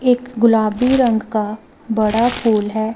एक गुलाबी रंग का बड़ा फूल है।